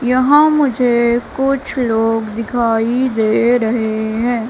यहां मुझे कुछ लोग दिखाई दे रहे हैं।